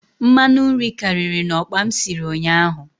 Mmanụ nri karịrị na okpa m sịrị ụnyaahụ